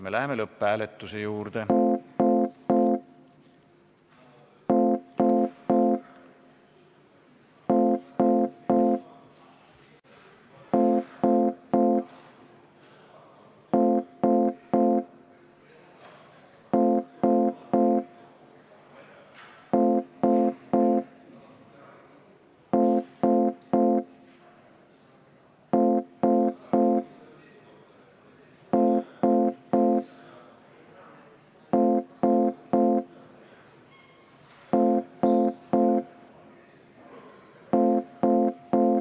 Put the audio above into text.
Me läheme lõpphääletuse juurde.